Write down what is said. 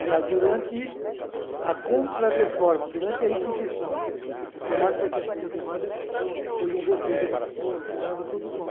Aliás, durante a contrarreforma, durante a Inquisição, o Tomás Torque Torquemada foi um verdugo também, torturava tudo com...